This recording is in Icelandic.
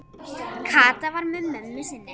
Kata var með mömmu sinni.